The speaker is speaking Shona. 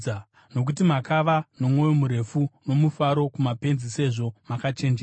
Nokuti makava nomwoyo murefu nomufaro kumapenzi sezvo makachenjera!